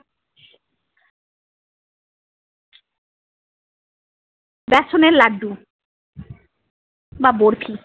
ব্যাসনের লাডডু বা বরফি।